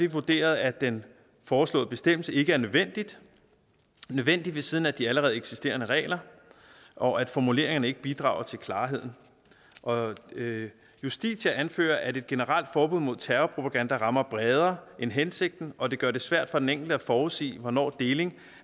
vurderet at den foreslåede bestemmelse ikke er nødvendig nødvendig ved siden af de allerede eksisterende regler og at formuleringerne ikke bidrager til klarheden og justitia anfører at et generelt forbud mod terrorpropaganda rammer bredere end hensigten og at det gør det svært for den enkelte at forudsige hvornår deling